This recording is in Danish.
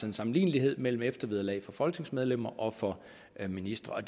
en sammenlignelighed mellem eftervederlaget for folketingsmedlemmer og for ministre og